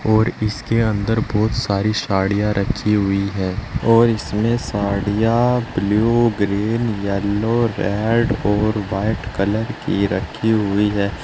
और इसके अंदर बहुत सारी साड़िया रखी हुई हैं और इसमें साड़िया ब्लू ग्रीन येलो रेड और व्हाइट कलर की रखी हुई हैं।